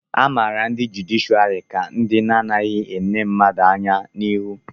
a mara ndị jụdịshịàrị ka ndị na-adịghị ele mmadụ anya n'ihu